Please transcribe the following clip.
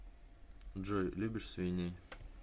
джой любишь свиней